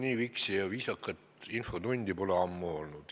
Nii viksi ja viisakat infotundi pole ammu olnud.